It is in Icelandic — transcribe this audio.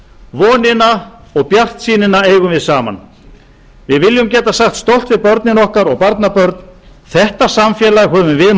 vonina og bjartsýnina eigum við saman við viljum geta sagt stolt við börnin okkar og barnabörn þetta samfélag höfum við